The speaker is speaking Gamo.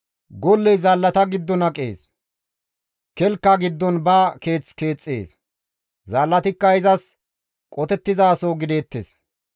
Golley zaallata giddon aqees; kelka giddon ba keeth keexxees; zaallatikka izas qotettizaso gideettes.